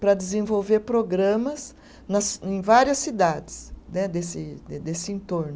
para desenvolver programas nas, em várias cidades né desse de desse entorno.